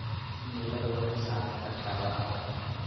Cimiladu waxay saameyn kartaa waraabka.